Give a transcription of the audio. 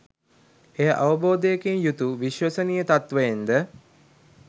එය අවබෝධයකින් යුතු විශ්වසනීය තත්ත්වයෙන් ද